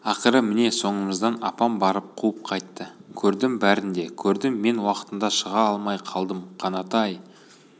ақыры міне соңымыздан апам барып қуып қайтты көрдім бәрін де көрдім мен уақытында шыға алмай қалдым қанат-ай